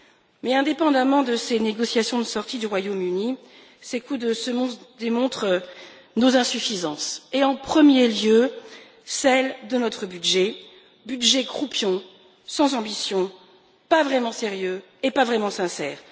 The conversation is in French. Mais, indépendamment de ces négociations de sortie du Royaume-Uni, ces coups de semonce démontrent nos insuffisances et, en premier lieu, celle de notre budget, budget croupion, sans ambition, pas vraiment sérieux et pas vraiment sincère.